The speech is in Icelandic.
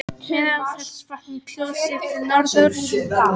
Meðalfellsvatn í Kjós, séð til norðurs.